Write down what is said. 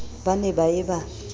ba ne ba ye ba